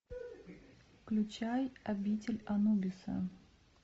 включай обитель анубиса